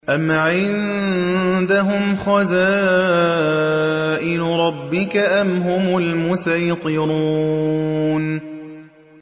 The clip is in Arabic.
أَمْ عِندَهُمْ خَزَائِنُ رَبِّكَ أَمْ هُمُ الْمُصَيْطِرُونَ